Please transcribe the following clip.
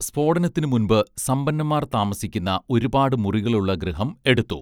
സ്ഫോടനത്തിനു മുൻപ് സമ്പന്നൻമാർ താമസിക്കുന്ന ഒരുപാട് മുറികളുള്ള ഗൃഹം എടുത്തു